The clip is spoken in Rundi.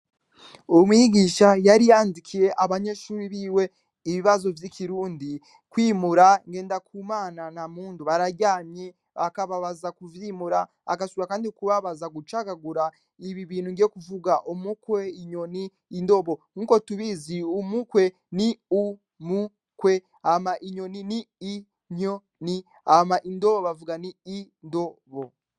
Umwigisha yari yandikiye abanyeshuri biwe ibibazo vy'ikirundi kwimura, Ngendakumana na Mpundu bararyamye bakaba baza kuvyimura, agasubira kandi kubabaza gucagagura ibi bintu ngiye kuvuga, umukwe, inyoni, indobo, nk'uko tubizi umukwe ni u-mu-kwe, hama inyoni ni i-nyo-ni, hama indo bavuga nti i-ndo-bo.